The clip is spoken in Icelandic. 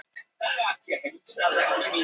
Hemmi lítur í baksýnisspegilinn.